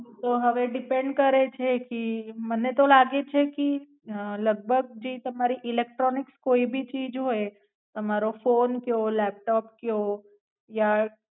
ઈ તો હવે depend કરે છે કી મને તો લાગે છે કી અ લગભગ જે તમારી ઇલેક્ટ્રોનિક્સ કોઈ ભી ચીજ હોય તમારો ફોન કયો લેપટોપ કયો યા.